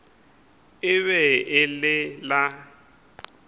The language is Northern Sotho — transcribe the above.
e be e le la